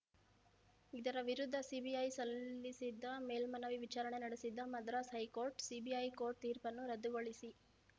ಇದರ ವಿರುದ್ಧ ಸಿಬಿಐ ಸಲ್ಲಿಸಿದ್ದ ಮೇಲ್ಮನವಿ ವಿಚಾರಣೆ ನಡೆಸಿದ್ದ ಮದ್ರಾಸ್‌ ಹೈಕೋರ್ಟ್‌ ಸಿಬಿಐ ಕೋರ್ಟ್‌ ತೀರ್ಪನ್ನು ರದ್ದುಗೊಳಿಸಿ